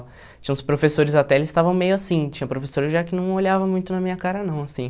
Tinha uns professores até, eles estavam meio assim, tinha professor já que não olhava muito na minha cara não, assim.